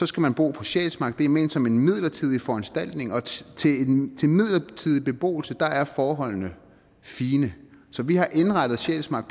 skal man bo på sjælsmark det er ment som en midlertidig foranstaltning og til midlertidig beboelse er forholdene fine så vi har indrettet sjælsmark